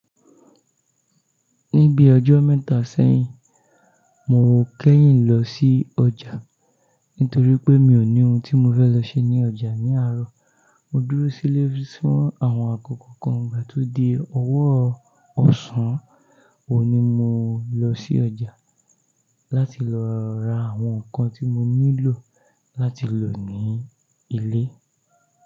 Ní bí ọjọ́ mẹ́ta sẹ́yìn, mo kẹ́yìn lọ sí ọjà nítorí pé mi ò ní ohun tí mo fẹ́ lọ ṣe ní ọjà ní àárọ̀. Mo dúró sílé fún àwọn àkókò kan, ìgbà tó di ọwọ́ ọ̀sán, ohun ni mo lọ sí ọjà láti lọ ra àwọn nǹkan tí mo nílò láti lò ní ilé.